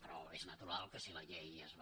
però és natural que si la llei es va